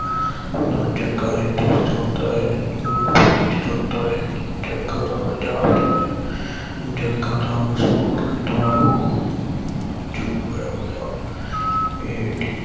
ਨਾ ਜੱਗਾ ਇਸ ਵਿਚ ਆਉਦਾ ਹੈ ਨਾ ਆਉਦਾ ਏ ਜੱਗਾ ਤਾ ਪੰਜਾਬ ਏ, ਜੱਗਾ ਤਾ ਮਸ਼ਹੂਰ ਕਿਰਦਾਰ ਉਹ ਜੋ ਇਹ ਹੋਇਆ ਇਹ